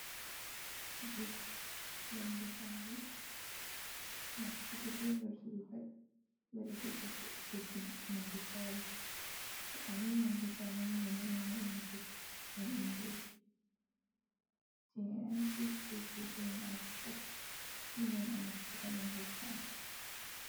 Get yonde saare, nastugo be vurtugo pat dole seito goɗɗo tokki yonde saare, to ayin yonde saare ni ɓe ɗo yona ɗum get be inglish, jei intiras be going aut pat awawan anaftira yonde saare.